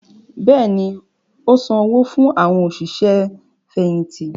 Bẹ́ẹ̀ni, ó ti san owó fún “ àwọn òṣìṣẹ́ fẹ̀yìntì”